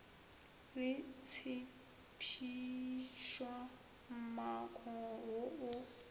le tshephišwa mmako wo o